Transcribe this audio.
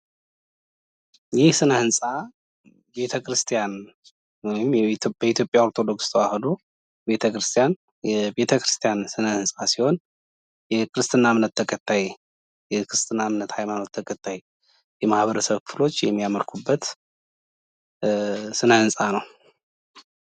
ይህ ስነ ህንፃ ቤተ-ክርስቲያን ወይም የኢትዮጵያ ኦርቶዶክስ ተዋህዶ ቤተ ክርስቲያን የቤተ ክርስቲያን ስነ ህንፃ ሲሆን የክርስትና እምነት ተከታይ የማህበረሰብ ክፍሎች የሚያመልኩበት ስነ ህንፃ ነው።